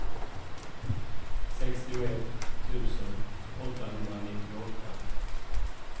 sextioett tusen åttahundranittioåtta